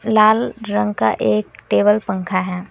लाल रंग का एक टेबल पंखा है।